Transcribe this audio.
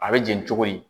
A bɛ jeni cogo di